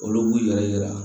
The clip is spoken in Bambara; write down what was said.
Olu b'u yɛrɛ yira